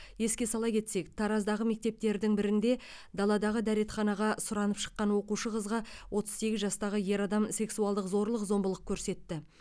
еске сала кетсек тараздағы мектептердің бірінде даладағы дәретханаға сұранып шыққан оқушы қызға отыз сегіз жастағы ер адам сексуалдық зорлық зомбылық көрсетті